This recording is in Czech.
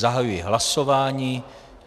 Zahajuji hlasování.